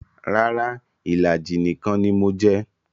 Rara, ìlàjì nìkan ni mo jẹ